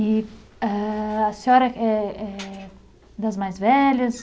E eh, a senhora eh, é das mais velhas?